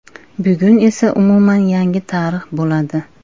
Bugun esa umuman yangi tarix bo‘ladi.